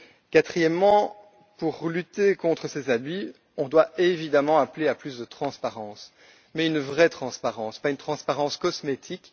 Quatrièmement, pour lutter contre ces abus, on doit évidemment appeler à plus de transparence. Mais une vraie transparence, pas une transparence cosmétique.